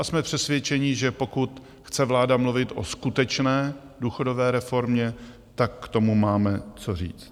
A jsme přesvědčeni, že pokud chce vláda mluvit o skutečné důchodové reformě, tak k tomu máme co říct.